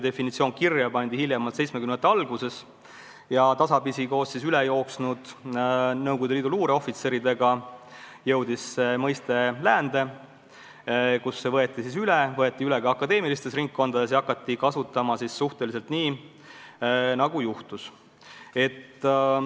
Definitsioon pandi kirja hiljemalt 1970-ndate alguses ja tasapisi koos üle jooksnud Nõukogude Liidu luureohvitseridega jõudis see mõiste läände, kus see võeti üle ka akadeemilistes ringkondades ja hakati seda kasutama enam-vähem nii, nagu juhtus.